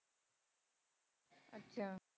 ਅੱਛਾ।